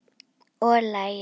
Og lagið?